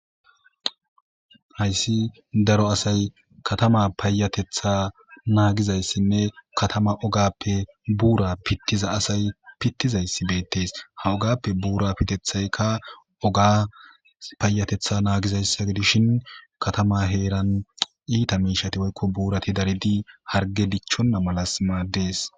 Hayssi daro asay kathamaa payyatheththaa naagizayssinne kathama ogaappe buuraa piththiza asay piththizayssi beeththees;ha ugaappe buuraa pitheththaykka ogaa payyatheththaa naagizayssa gidishin kathamaa heeran iitha miishshathi woykko buurathi daridi hargge dichchonna malassi maaddees.